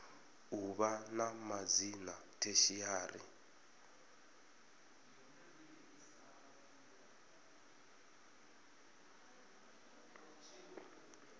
u vha na madzina tertiary